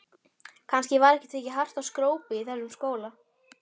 Kannski var ekki tekið hart á skrópi í þessum skóla.